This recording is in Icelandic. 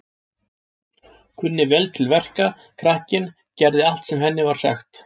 Kunni vel til verka, krakkinn, gerði allt sem henni var sagt.